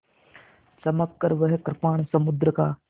चमककर वह कृपाण समुद्र का